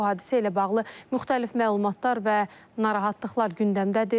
Bu hadisə ilə bağlı müxtəlif məlumatlar və narahatlıqlar gündəmdədir.